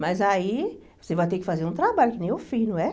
Mas aí você vai ter que fazer um trabalho, que nem eu fiz, não é?